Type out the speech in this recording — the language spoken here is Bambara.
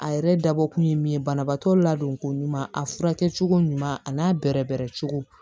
A yɛrɛ dabɔ kun ye min ye banabaatɔ ladonko ɲuman a furakɛ cogo ɲuman a n'a bɛrɛbɛrɛ cogo